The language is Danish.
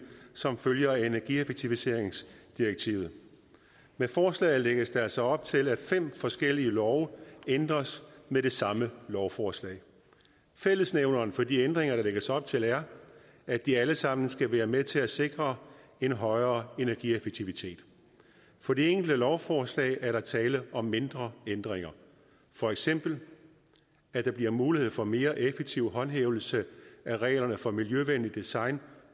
som følger af energieffektiviseringsdirektivet med forslaget lægges der altså op til at fem forskellige love ændres med det samme lovforslag fællesnævneren for de ændringer der lægges op til er at de alle sammen skal være med til at sikre en højere energieffektivitet for de enkelte lovforslag er der tale om mindre ændringer for eksempel at der bliver mulighed for mere effektiv håndhævelse af reglerne for miljøvenligt design